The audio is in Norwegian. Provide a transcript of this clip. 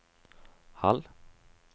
halv